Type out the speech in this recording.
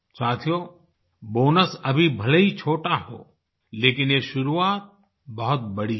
साथियो बोनस अभी भले ही छोटा हो लेकिन ये शुरुआत बहुत बड़ी है